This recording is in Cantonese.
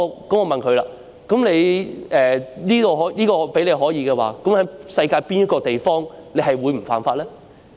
我問他："如果這說法成立，試問在世界上哪個地方你不會犯法呢？